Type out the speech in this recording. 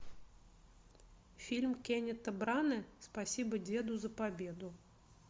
фильм кеннита брана спасибо деду за победу